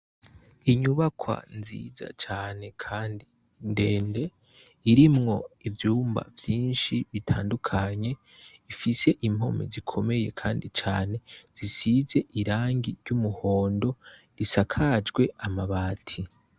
Inyubakwa nziza cane kandi ndende irimwo ivyumba vyinshi bitandukanye ifise impome zikomeye kandi cane zisize irangi ry'umuhondo risakajwe amabati.